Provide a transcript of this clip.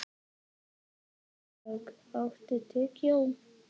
Himinbjörg, áttu tyggjó?